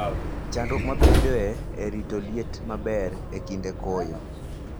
Chandruok mabedoe e rito liet maber e kinde koyo.